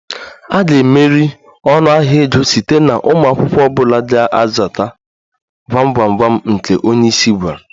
A ga-emeri ọnụahịa ego site na ụmụ akwụkwọ ọ bụla ga-azata gwam gwam gwam nke onye isi gwara